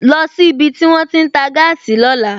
Lọ sí ibi tí wón ti ń tà gáàsì lóla!